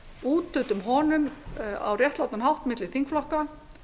úthlutum honum á réttlátan hátt milli þingflokka